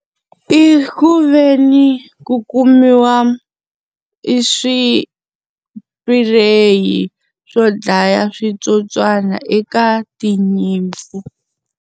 I ku ve ni ku kumiwa i swipureyi swo dlaya switsotswana eka tinyimpfu.